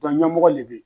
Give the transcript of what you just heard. Dɔn ɲɛmɔgɔ de bɛ yen